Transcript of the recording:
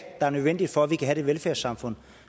der er nødvendig for at vi kan have det velfærdssamfund